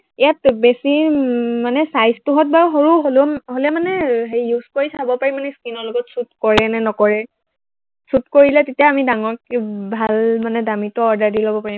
ইয়াত বেছি উম মানে size টো হঁত বাৰু সৰু হলে মানে হেৰি use কৰি চাব পাৰি মানে skin ৰ লগত suit কৰে নে নকৰে, suit কৰিলে তেতিয়া আমি ডাঙৰকে ভাল মানে দামীটো order দি লব পাৰিম।